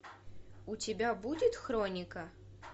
у тебя будет хроника